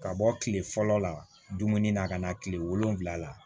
Ka bɔ kile fɔlɔ la dumuni na ka na kile wolonwula la